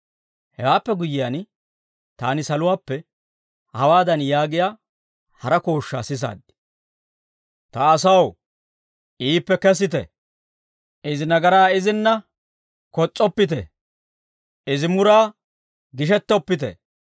Hewaappe guyyiyaan, taani saluwaappe, hawaadan yaagiyaa hara kooshshaa sisaad; «Ta asaw, iippe kesite! Izi nagaraa izinna kos's'oppite! Izi muraa gishettoppite.